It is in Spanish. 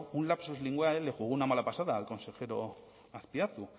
un lapsus linguae le jugó una mala pasada al consejero azpiazu